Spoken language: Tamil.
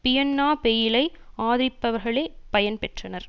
பியன்னா பெயிலை ஆதரிப்பவர்களே பயன் பெற்றனர்